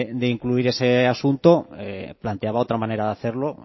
de incluir ese asunto planteaba otra manera de hacerlo